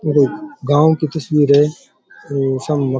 गांव की तस्वीर है और सामे --